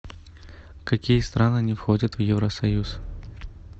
какие страны не входят в евросоюз